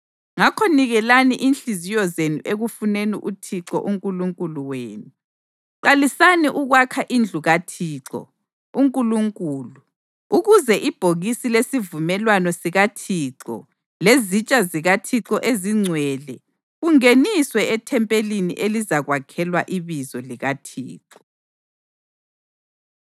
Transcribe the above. Ngakho nikelani inhliziyo zenu ekufuneni uThixo uNkulunkulu wenu. Qalisani ukwakha indlu kaThixo uNkulunkulu, ukuze ibhokisi lesivumelwano sikaThixo lezitsha zikaThixo ezingcwele kungeniswe ethempelini elizakwakhelwa iBizo likaThixo.”